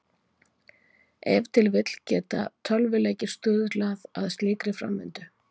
Ef til vill geta tölvuleikir stuðlað að slíkri framvindu.